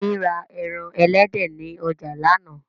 Yẹmí ra ẹran elédè ni ọjà lánàá